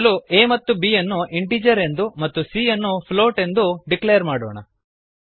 ಮೊದಲು a ಮತ್ತು b ಯನ್ನು ಇಂಟಿಜರ್ ಎಂದು ಮತ್ತು c ಯನ್ನು ಫ್ಲೋಟ್ ಎಂದೂ ಡಿಕ್ಲೇರ್ ಮಾಡೋಣ